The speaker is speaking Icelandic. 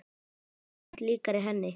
Já, en samt líkari henni.